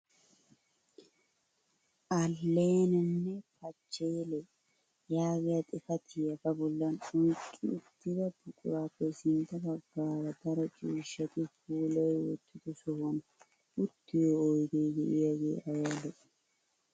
Alleenanne pachelle yaagiyaa xifatiyaa ba bollan oyqqi uttida buquraappe sintta baggaara daro cuushshati puulayi wottido sohuwaan uttiyoo oydee de'iyaagee ayba lo"ii!